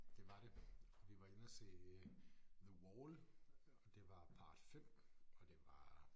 Det var det vi var inde og se The Wall og det var part 5 og det var